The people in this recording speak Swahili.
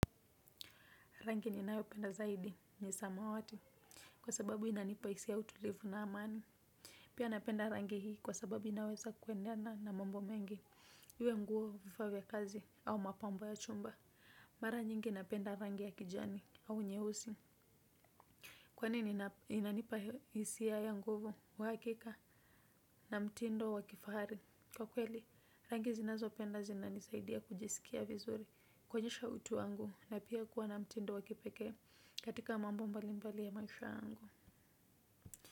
Rangi ni nayo penda zaidi ni samawati kwa sababu inanipa hisia ya utulivu na amani. Pia napenda rangi hii kwa sababu inaweza kuendana na mambo mengi. Iwe nguo vifaa vya kazi au mapambo ya chumba. Mara nyingi napenda rangi ya kijani au nyeusi. Kwani inanipa hisia ya nguvu uhakika na mtindo wakifahari. Kwa kweli, rangi zinazopenda zina nisaidia kujisikia vizuri kuonyesha utu wangu na pia kuwa na mtindo wa kipekee. Katika mambo mbali mbali ya maisha yangu.